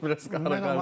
Bir az qarışdı.